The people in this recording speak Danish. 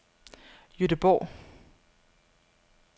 Gøteborg